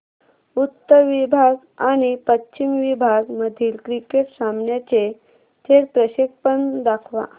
उत्तर विभाग आणि पश्चिम विभाग मधील क्रिकेट सामन्याचे थेट प्रक्षेपण दाखवा